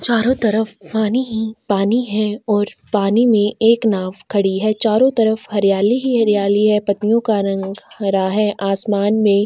चारों तरफ पानी ही पानी है और पानी में एक नाव खड़ी है चारों तरफ हरियाली ही हरियाली है पतियों का रंग हरा है आसमान में।